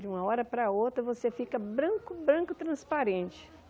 De uma hora para a outra você fica branco, branco, transparente.